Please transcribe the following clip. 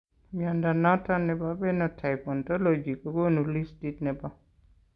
Mnyondo noton nebo Phenotype Ontology kogonu listit nebo